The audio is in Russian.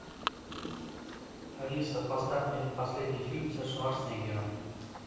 алиса поставь мне последний фильм со шварценеггером